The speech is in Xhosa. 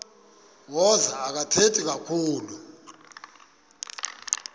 wazo akathethi kakhulu